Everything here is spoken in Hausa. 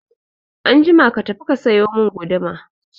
Anjima ka tafi ka sayo mun guduma